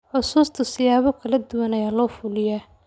Xusuusta siyaabo kala duwan ayaa loo fuliyaa.